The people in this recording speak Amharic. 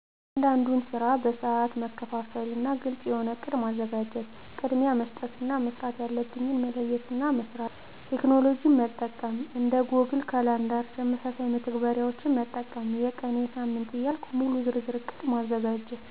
እያንዳንዱን ስራ በሰአት መከፋፈና ግልጽ የሆነ እቅድ ማዘጋጀት። ቅድሚያ መስጠት እና መስራት ያለብኝን መለየትና መስራት። ቴክኖሎጅን መጠቀም። እንደ ጎግል ካላንደር ተመሳሳይ መተግበሪያዎችን መጠቀም። የቀን፣ የሳምንት ዕያልኩ ሙሉ ዝርዝር እቅድ ማዘጋጀት።